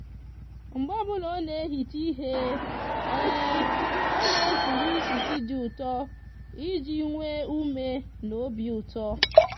mgbe obula o n'ehicha ihe o n'ekuru isisi di uto iji nwe ume na obiuto